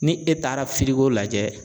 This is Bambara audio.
Ni e taara lajɛ